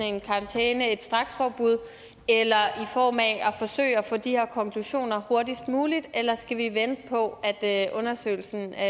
en karantæne et straksforbud eller i form af at forsøge at få de her konklusioner hurtigst muligt eller skal vi vente på at undersøgelsen er